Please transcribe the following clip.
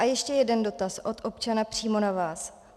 A ještě jeden dotaz od občana přímo na vás.